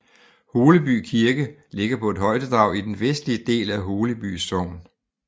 Holeby Kirke ligger på et højdedrag i den vestlige del af Holeby Sogn